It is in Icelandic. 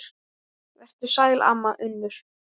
Vertu sæl, amma Unnur.